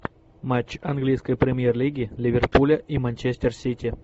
матч английской премьер лиги ливерпуля и манчестер сити